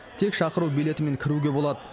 тек шақыру билетімен кіруге болады